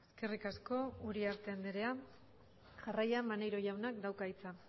eskerrik asko uriarte andrea jarraian maneiro jaunak dauka hitza